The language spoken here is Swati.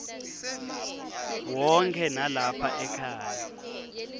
wonkhe nalapha ekhaya